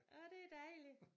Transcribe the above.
Åh det dejligt